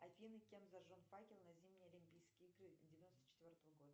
афина кем зажжен факел на зимние олимпийские игры девяносто четвертого года